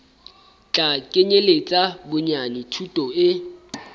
tla kenyeletsa bonyane thuto e